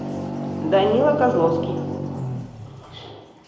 данила козловский